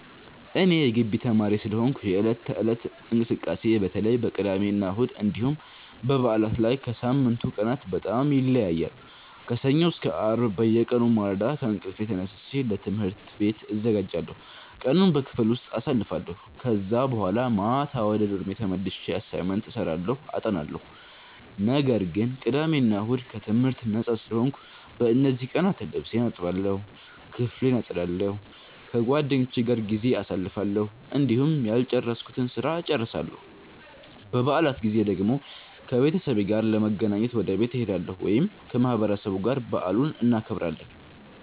እኔ የጊቢ ተማሪ ስለሆንኩ የዕለት ተዕለት እንቅስቃሴዬ በተለይ በቅዳሜና እሁድ እንዲሁም በበዓላት ላይ ከሳምንቱ ቀናት በጣም ይለያያል። ከሰኞ እስከ አርብ በየቀኑ በማለዳ ከእንቅልፌ ተነስቼ ለትምህርት ቤት እዘጋጃለሁ፣ ቀኑን በክፍል ውስጥ አሳልፋለሁ ከዛ በኋላ ማታ ወደ ዶርሜ ተመልሼ አሳይመንት እሰራለሁ አጠናለሁ። ነገር ግን ቅዳሜ እና እሁድ ከትምህርት ነጻ ስለሆንኩ፣ በእነዚህ ቀናት ልብሴን እጠባለሁ፣ ክፍሌን አጸዳለሁ፣ ከጓደኞቼ ጋር ጊዜ አሳልፋለሁ፣ እንዲሁም ያልጨረስኩትን ስራ እጨርሳለሁ። በበዓላት ጊዜ ደግሞ ከቤተሰቤ ጋር ለመገናኘት ወደ ቤት እሄዳለሁ ወይም ከማህበረሰቡ ጋር በዓሉን እናከብራለን።